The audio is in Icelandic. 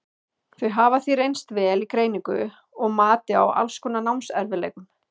Þau hafa því reynst vel í greiningu og mati á alls konar námserfiðleikum.